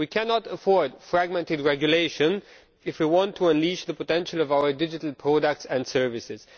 We cannot afford fragmented regulation if we want to unleash the potential of our digital products and services.